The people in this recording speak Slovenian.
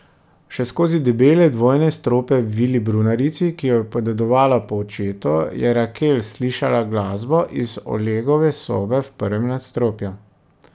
Še skozi debele dvojne strope v vili brunarici, ki jo je podedovala po očetu, je Rakel slišala glasbo iz Olegove sobe v prvem nadstropju.